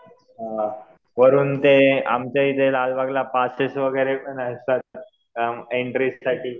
हां वरून ते आमच्याइथे लालबागला पासेस वगैरे पण असतात, एंट्रीसाठी.